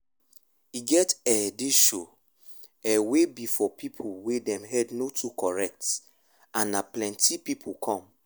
e get ehh this show ehh wey be for people wey dem head no too correct and na plenty people come